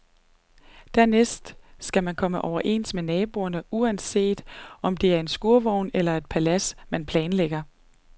Dernæst skal man komme overens med naboerne, uanset om det er en skurvogn eller et palads, man planlægger.